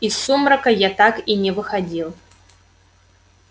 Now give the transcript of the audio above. из сумрака я так и не выходил